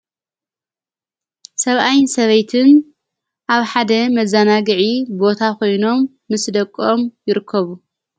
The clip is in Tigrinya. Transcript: ሰብኣይን ሰበይትን ኣብ ሓደ መዛና ግዒ ቦታ ኾይኖም ምስስ ደቆኦም ይርከቡ።